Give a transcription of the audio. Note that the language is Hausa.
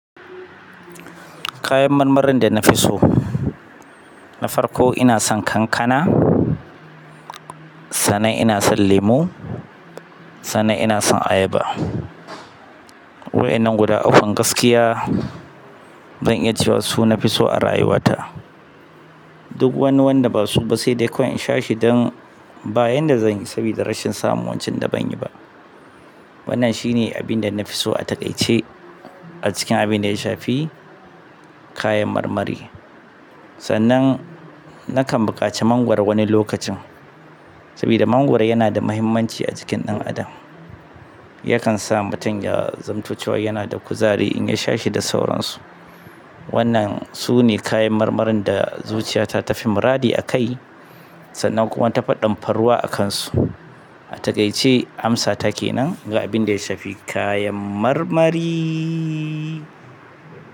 Kayan marmarin da na fi so, na farko ina son kankana, sannan ina son lemu, sannan ina son ayaba. Wa'inan guda ukkun gaskiya zan iya cewa su na fi so a rayuwata. Duk wani wanda basu ba, sai dai kawai dan, ba yanda zanyi sabida rashin samun wancan. Wannan shine abin da na fi so a taƙaice a cikin abin da ya shafi, kayan marmari. Sannan, na kan buƙaci mangwaro wani lokacin. Sabida mangwaro yana da muhimmanci a jikin ɗan adam. Yakan sa mutum ya zamo yanada kuzari in yasha shi, da sauran su. Wannan su ne kayan marmarin da zuciyata ta fi muradi a kai sannan kuma tafi ɗan faruwa akan su a taƙaice amsa take nan, ga abin da ya shafi kayan marmari.